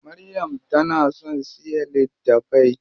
Maryam tana son siya littafai.